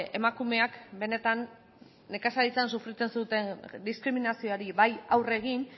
emakumeak benetan nekazaritzan sufritzen zuten diskriminazioari bai aurre egin